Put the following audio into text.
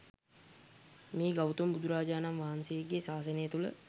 මේ ගෞතම බුදුරජාණන්වහන්සේ ගේ ශාසනය තුළ